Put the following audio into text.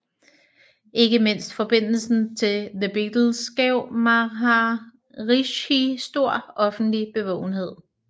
Ikke mindst forbindelsen til The Beatles gav Maharishi stor offentlig bevågenhed